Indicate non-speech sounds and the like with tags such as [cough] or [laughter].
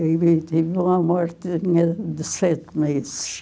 Ele teve uma morte [unintelligible] de sete meses.